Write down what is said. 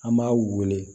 An b'a wele